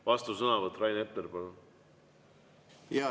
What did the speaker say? Vastusõnavõtt, Rain Epler, palun!